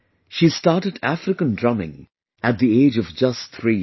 She started African Drumming at the age of just 3 years